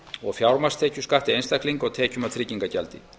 og fjármagnstekjuskatti einstaklinga og tekjum af tryggingagjaldi